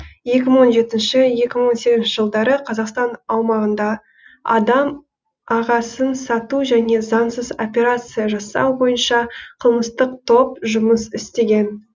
екі мың он жетінші екі мың он сегізінші жылдары қазақстан аумағында адам ағасын сату және заңсыз операция жасау бойынша қылмыстық топ жұмыс істеген